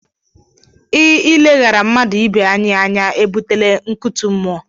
I ileghara mmadụ ibe anyị anya e butela nkụtu mụọ.